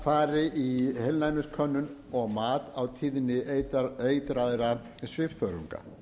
fari í heilnæmiskönnun og mat á tíðni eitraðra svifþörunga